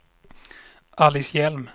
Alice Hjelm